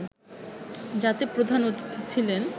যাতে প্রধান অতিথি ছিলেন